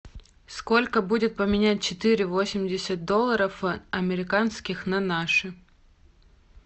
сколько будет поменять четыре восемьдесят долларов американских на наши